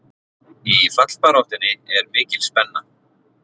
Í fallbaráttunni er mikil spenna.